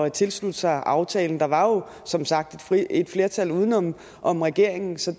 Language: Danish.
tilslutte sig aftalen der var som sagt et flertal uden om om regeringen så